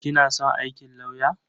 Kina son aikin lauyer?